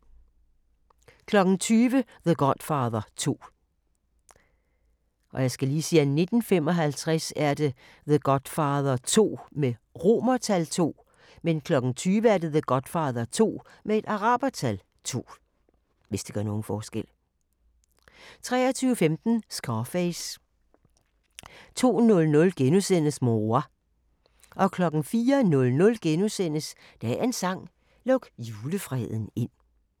20:00: The Godfather 2 23:15: Scarface 02:00: Mon roi * 04:05: Dagens sang: Luk julefreden ind *